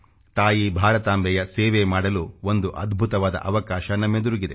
ತಾಯಿ ಭಾರತಾಂಬೆಯ ಸೇವೆ ಮಾಡಲು ಒಂದು ಅದ್ಭುತವಾದ ಅವಕಾಶ ನಮ್ಮೆದುರಿಗಿದೆ